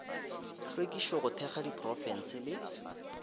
hlwekišo go thekga diprofense le